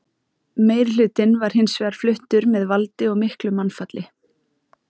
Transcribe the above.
Meirihlutinn var hins vegar fluttur með valdi og miklu mannfalli.